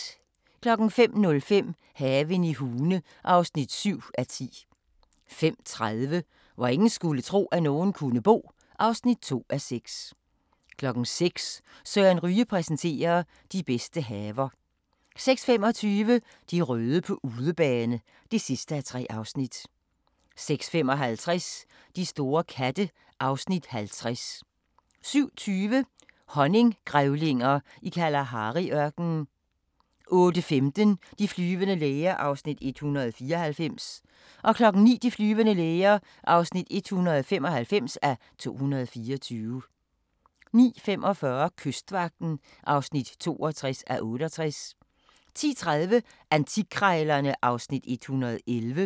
05:05: Haven i Hune (7:10) 05:30: Hvor ingen skulle tro, at nogen kunne bo (2:6) 06:00: Søren Ryge præsenterer: De bedste haver 06:25: De røde på udebane (3:3) 06:55: De store katte (Afs. 50) 07:20: Honninggrævlinger i Kalahari-ørkenen 08:15: De flyvende læger (194:224) 09:00: De flyvende læger (195:224) 09:45: Kystvagten (62:68) 10:30: Antikkrejlerne (Afs. 111)